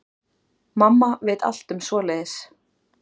Mamma veit allt um svoleiðis.